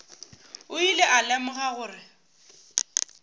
o ile a lemoga gore